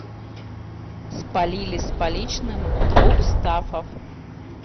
спалили с поличным двух стаффов